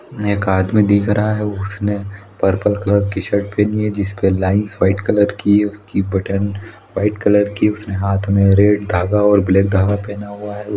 एक आदमी दिख रहा है उसने पर्पल कलर की शर्ट पहनी है जिसपे लाइन्स व्हाइट कलर की उसकी बटन व्हाइट कलर की उसने हाथ में रेड धागा और धागा पहना हुआ हैं।